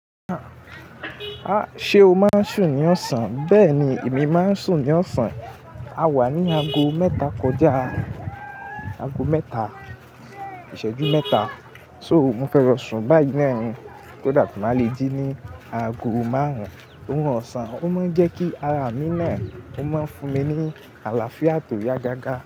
Ah! Ṣé o máa ń sùn ní ọsán? Bẹ́ẹ̀ ni, èmi máa ń sùn ní ọsán. A wà ní aago mẹ́ta kọjá, aago mẹ́ta, ìṣẹ́jú mẹ́ta. So, mo fẹ lọ sùn báyìí náà ni, kí màá le jí ní aago márùn-ún. O'run ọsán, ó máa ń jẹ́ kí ara mi náà, ó máa ń fún mi ní àlàáfíà tó yá gágá.